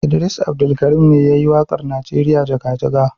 Idris Abdulkarim ne ya yi waƙar Najeriya jaga-jaga.